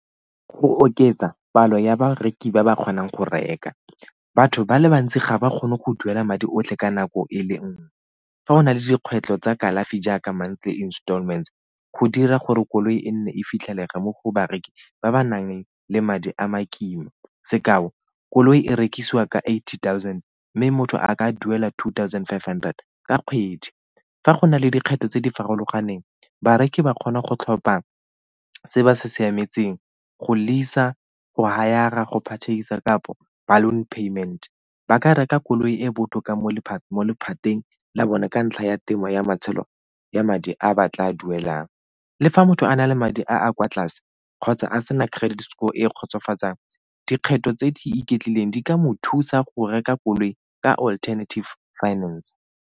Go oketsa palo ya bareki ba ba kgonang go reka. Batho ba le bantsi ga ba kgone go duela madi otlhe ka nako e le nngwe, fa go na le dikgwetlho tsa kalafi jaaka mantle installment go dira gore koloi e nne e fitlhelega mo go bareki ba ba nang le madi a ma kima sekao, koloi e rekisiwa ka eighty thousand mme motho a ka duela two thousand five hundred ka kgwedi. Fa go na le dikgetho tse di farologaneng bareki ba kgona go tlhopa se ba se siametseng go lease-a, go hire-ra, go patedisa kapo balloon payment. Ba ka reka koloi e botlhokwa mo lephateng la bone ka ntlha ya temo ya matshelo ya madi a ba tla duelang. Le fa motho a na le madi a a kwa tlase kgotsa a sena credit score e e kgotsofatsang dikgetho tse di iketlileng di ka mo thusa go reka koloi ka alternative finance.